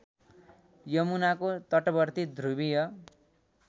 यमुनाको तटवर्ती ध्रुवीय